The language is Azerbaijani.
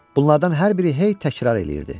Bunlardan hər biri hey təkrar eləyirdi.